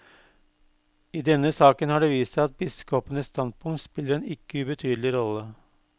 I denne saken har det vist seg at biskopenes standpunkt spiller en ikke ubetydelig rolle.